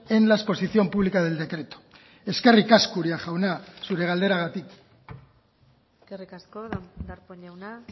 en la exposición pública del decreto eskerrik asko uria jauna zure galderagatik eskerrik asko darpón jauna